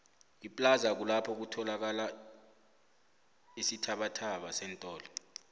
iplaza kulapho kuthalakala isithabathaba seentdo